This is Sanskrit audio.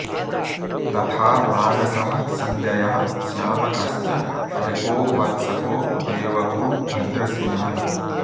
तथा मानसः सञ्जयः श्यामकश्च वृको वत्सको देवको भद्रसेनः